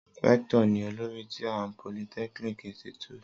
Rector ni olori ti a polytechnic Institute.